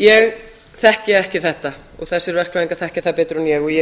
ég þekki ekki þetta þessir verkfræðingar þekkja það betur en ég og